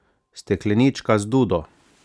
Steklenička z dudo?